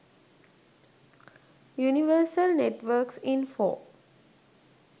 universal networks info